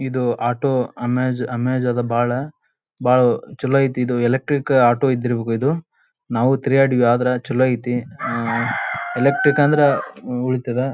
ಇದು auto amaze amaze ಅದ್ ಬಹಳ್ ಬಹಳ್ ಚಲೋ ಐತಿ ಇದು ಎಲೆಕ್ಟ್ರಿಕ್ ಆಟೋ ಇದ್ದಿರಬೇಕು. ಇದು ನಾವು ತಿರಗಾಡಿವಿ ಆದ್ರೆ ಚಲೋ ಐತಿ ಎಲೆಕ್ಟ್ರಿಕ್ ಅಂದ್ರೆ ಉಳಿತ್ತದ್.